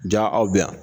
Ja aw bɛ yan